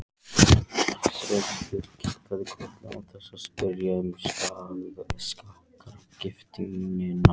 Sveinbjörn kinkaði kolli án þess að spyrja um sakargiftirnar.